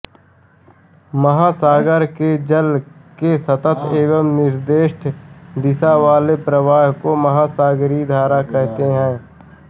महासागर के जल के सतत एवं निर्देष्ट दिशा वाले प्रवाह को महासागरीय धारा कहते हैं